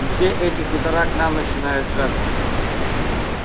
и все эти хутора к нам начинают жаться